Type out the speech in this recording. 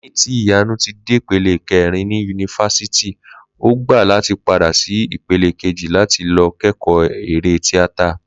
Lé̩yìn tí Ìyànu ti dépele ké̩rin ní yunifásítì, o gbà láti padà sí ipele kejì láti lo̩ ké̩kò̩ó̩ eré tíátà